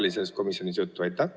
Oli sellest komisjonis juttu?